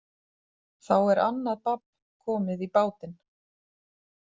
Þá er annað babb komið í bátinn.